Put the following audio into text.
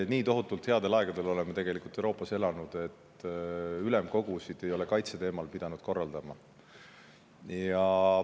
Nii tohutult headel aegadel oleme Euroopas elanud, et ülemkogusid ei ole kaitseteemal pidanud korraldama.